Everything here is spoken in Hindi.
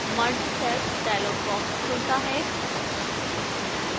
merge cells dialog box खुलता है